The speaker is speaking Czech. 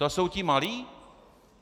To jsou ti malí?